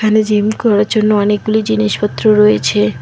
Gym করার জন্য অনেকগুলি জিনিসপত্র রয়েছে।